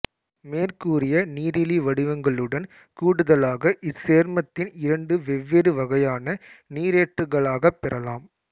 மேற்கூறிய நீரிலி வடிவங்களுடன் கூடுதலாக இச்சேர்மத்தின் இரண்டு வெவ்வேறு வகையான நீரேற்றுகளாகப் பெறலாம்